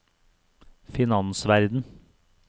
finansverden